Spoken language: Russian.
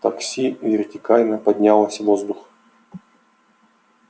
такси вертикально поднялось в воздух